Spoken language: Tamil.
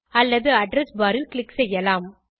அல்லது அட்ரெஸ் பார் ல் க்ளிக் செய்யலாம்